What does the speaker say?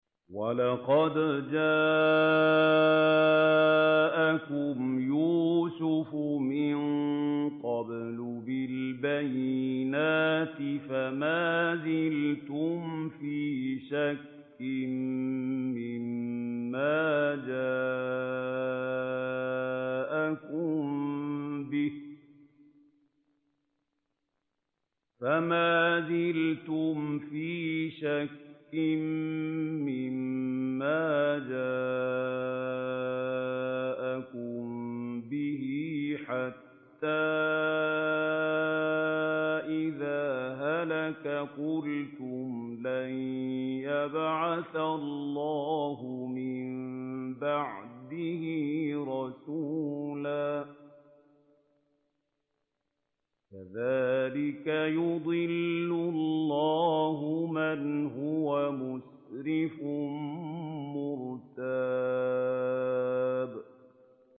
وَلَقَدْ جَاءَكُمْ يُوسُفُ مِن قَبْلُ بِالْبَيِّنَاتِ فَمَا زِلْتُمْ فِي شَكٍّ مِّمَّا جَاءَكُم بِهِ ۖ حَتَّىٰ إِذَا هَلَكَ قُلْتُمْ لَن يَبْعَثَ اللَّهُ مِن بَعْدِهِ رَسُولًا ۚ كَذَٰلِكَ يُضِلُّ اللَّهُ مَنْ هُوَ مُسْرِفٌ مُّرْتَابٌ